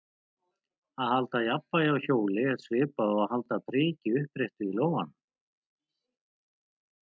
Að halda jafnvægi á hjóli er svipað og að halda priki uppréttu í lófanum.